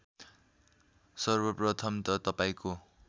सर्वप्रथम त तपाईँको